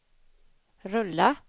rulla